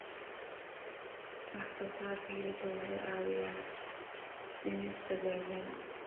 Wax soo saarka hilibku waxa uu caawiyaa dhimista gaajada.